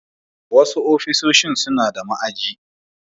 sasu ofishin sunada ma'aji